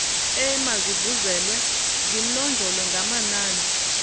emazivulwe zinonjolwe ngamanani